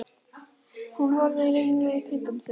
Hún horfir ringluð í kringum sig.